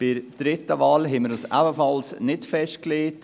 Bei der dritten Wahl haben wir uns ebenfalls nicht festgelegt.